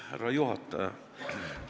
Härra juhataja!